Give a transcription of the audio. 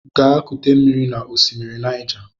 Gaa kute mmiri n'osimiri Naịja!